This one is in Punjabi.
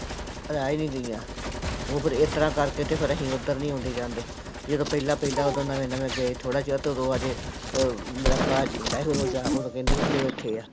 ਰਹਿ ਹੀ ਨੀ ਗਈਆਂ, ਉਹ ਫਿਰ ਇਸ ਤਰ੍ਹਾਂ ਕਰਕੇ ਤੇ ਫਿਰ ਅਸੀਂ ਉੱਧਰ ਨੀ ਆਉਂਦੇ ਜਾਂਦੇ, ਜਦੋਂ ਪਹਿਲਾਂ ਪਹਿਲਾਂ ਉਦੋਂ ਨਵੇਂ ਨਵੇਂ ਗਏ ਥੋੜ੍ਹਾ ਚਿਰ ਤੇ ਓਦੂ ਬਾਅਦ ਚ ਅਹ ਮੇਰਾ ਭਰਾ ਜਿੰਦਾ ਸੀ ਉਦੋਂ ਜਾ, ਉਦੋਂ ਇੱਥੇ ਆ।